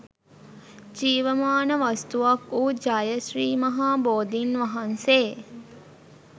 ජීවමාන වස්තුවක් වූ ජය ශ්‍රී මහා බෝධීන් වහන්සේ